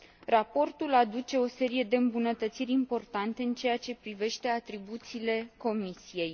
Raportul aduce o serie de îmbunătățiri importante în ceea ce privește atribuțiile Comisiei.